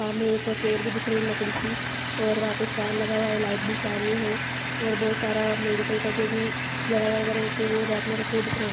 सामने एक चेयर भी दिख रही है लकड़ी की और वहाँ पे फैन लगा हुआ है लाइट भी चालू है और बहुत सारा मेडिकल का जो भी दवाइयाँ वैगरह होती है वो रैक में रखी हुई दिख रही हैं।